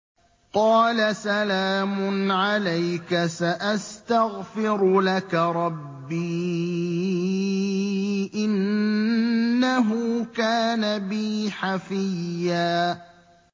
قَالَ سَلَامٌ عَلَيْكَ ۖ سَأَسْتَغْفِرُ لَكَ رَبِّي ۖ إِنَّهُ كَانَ بِي حَفِيًّا